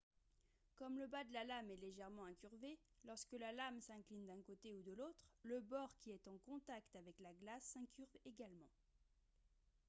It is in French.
comme le bas de la lame est légèrement incurvé lorsque la lame s'incline d'un côté ou de l'autre le bord qui est en contact avec la glace s'incurve également